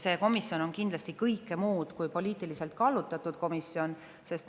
See komisjon on kindlasti kõike muud kui poliitiliselt kallutatud komisjon.